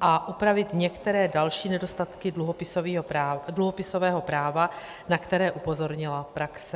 a upravit některé další nedostatky dluhopisového práva, na které upozornila praxe.